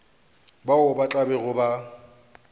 bao ba tla bego ba